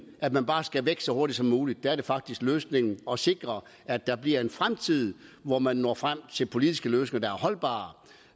at man bare skal væk så hurtigt som muligt der er det faktisk løsningen at sikre at der bliver en fremtid hvor man når frem til politiske løsninger